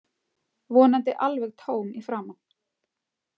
Vonandi alveg tóm í framan.